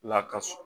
Lakas